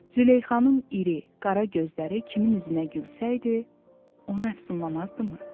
Züleyxanın iri, qara gözləri kimin üzünə gülsəydi, onu əfsunlamazdımı?